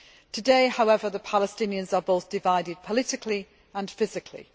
Today, however, the Palestinians are divided both politically and physically.